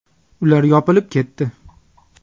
Ular yopilib ketdi.